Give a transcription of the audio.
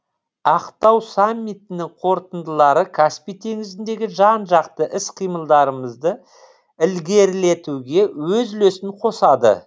ақтау саммитінің қорытындылары каспий теңізіндегі жан жақты іс қимылдарымызды ілгерілетуге өз үлесін қосады